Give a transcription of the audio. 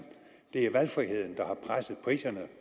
det er valgfriheden der har presset priserne